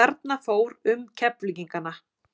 Þarna fór um Keflvíkingana.